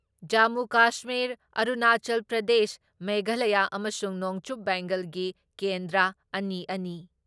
ꯖꯃꯨ ꯀꯥꯁꯃꯤꯔ, ꯑꯔꯨꯅꯥꯆꯜ ꯄ꯭ꯔꯗꯦꯁ, ꯃꯦꯘꯥꯂꯌ ꯑꯃꯁꯨꯡ ꯅꯣꯡꯆꯨꯞ ꯕꯦꯡꯒꯣꯜꯒꯤ ꯀꯦꯟꯗ꯭ꯔ ꯑꯅꯤꯑꯅꯤ,